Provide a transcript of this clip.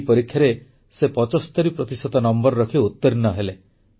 ଏଇ ପରୀକ୍ଷାରେ ସେ 75 ପ୍ରତିଶତ ନମ୍ବର ରଖି ଉତୀର୍ଣ୍ଣ ହେଲେ